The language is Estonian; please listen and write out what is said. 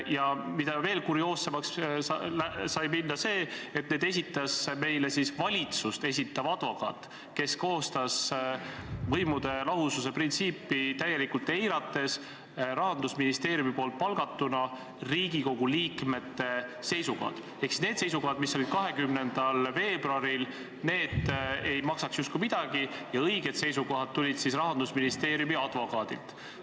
Ja mis veelgi kurioossem, need esitas meile valitsust esindav advokaat, kes koostas Rahandusministeeriumi palgatuna võimude lahususe printsiipi täielikult eirates Riigikogu liikmete seisukohad – ehk siis need seisukohad, milles lepiti kokku 20. veebruaril, ei maksaks justkui enam midagi ja õiged seisukohad on tulnud Rahandusministeeriumi advokaadilt.